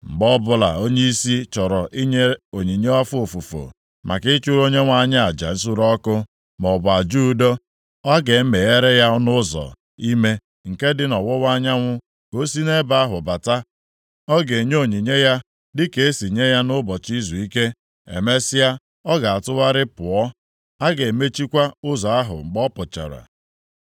“ ‘Mgbe ọbụla onyeisi chọrọ inye onyinye afọ ofufu, maka ịchụrụ Onyenwe anyị aja nsure ọkụ maọbụ aja udo, a ga-emeghere ya ọnụ ụzọ ime nke dị nʼọwụwa anyanwụ ka o si nʼebe ahụ bata. Ọ ga-enye onyinye ya dịka e si enye ya nʼụbọchị izuike. Emesịa, ọ ga-atụgharịa pụọ. A ga-emechikwa ụzọ ahụ mgbe ọ pụchara.